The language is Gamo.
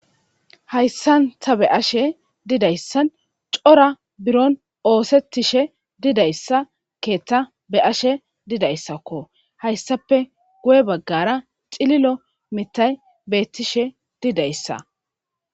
Hayissan taa be'ashshe didayissann cora bironni oththetishshe didayissa keththa be'ashshe didayissakko.hayissappe guye bagara cililo miththayi betishshe didayissa.